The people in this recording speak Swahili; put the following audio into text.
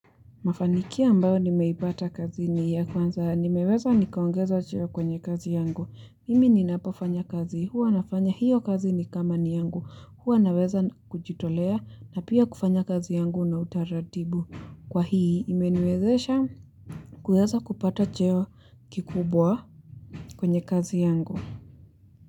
Mafanikio ambayo nimeipata kazini ya kwanza nimeweza nikaongezwa cheo kwenye kazi yangu. Mimi ninapofanya kazi, huwa nafanya hiyo kazi ni kama ni yangu, huwa naweza kujitolea na pia kufanya kazi yangu na utaratibu. Kwa hii imeniwezesha kuweza kupata cheo kikubwa kwenye kazi yangu.